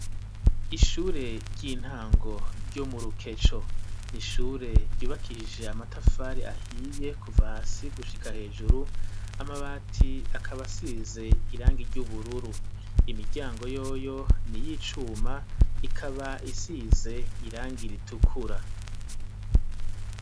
Ishure ry'intango ryo mu Rukeco, ni ishure ryubakiije amatafari ahiye kuva hasi gushika hejuru, amabati akaba asize irangi ry'ubururu. Imiryango yoyo ni iy'icuma, ikaba isize irangi ritukura.